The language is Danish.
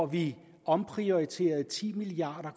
vi omprioriterede ti milliard